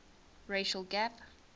racial gap